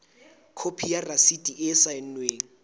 khopi ya rasiti e saennweng